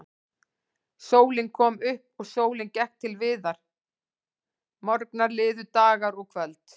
Sólin kom upp og sólin gekk til viðar, morgnar liðu, dagar og kvöld.